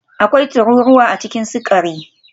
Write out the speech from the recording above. Akwai tururuwa a cikin sukari